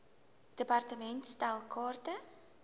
department stel kaarte